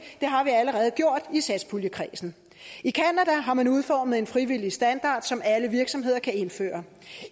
det har vi allerede gjort i satspuljekredsen i canada har man udformet en frivillig standard som alle virksomheder kan indføre